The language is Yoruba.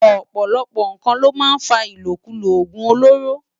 Òpòlòpò nkán ló má n fá ilókúló ógún ólóró